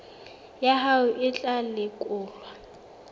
ya hao e tla lekolwa